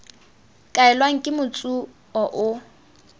kaelwang ke motsu o o